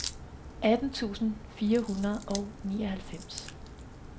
atten tusind fire hundrede og nioghalvfems